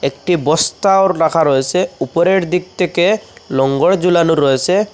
একটি বস্তাও লাখা রয়েসে উপরের দিক থেকে লোঙ্গর জুলানো রয়েসে ।